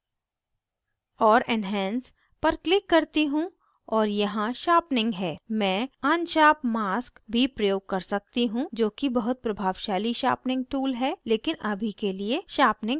और enhance पर click करती हूँ और यहाँ sharpening है मैं unsharp mask भी प्रयोग कर सकती हूँ जोकि बहुत प्रभावशाली sharpening tool है लेकिन अभी के लिए sharpening काफ़ी है